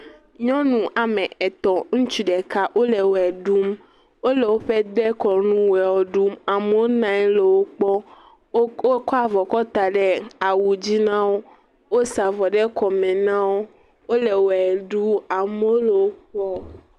Nyɔnuame etɔ̃ ŋutsu ɖeka wole ʋe ɖum, wole woƒe dekɔnu ʋe ɖum amewo nɔ anyi le wokpɔm, wokɔ..kɔ avɔ kɔ da ɖe awu dzi na wo, wosa avɔ ɖe kɔme na wo, wole ʋe ɖum amewo le wo kpɔm.